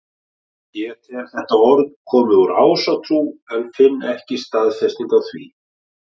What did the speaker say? Ég tel þetta orð komið úr ásatrú en finn ekki staðfestingu á því.